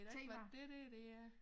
Ved da ikke hvad dét der det er